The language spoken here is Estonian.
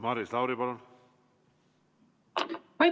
Maris Lauri, palun!